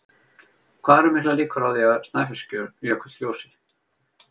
Hvað eru miklar líkur á því að Snæfellsjökull gjósi?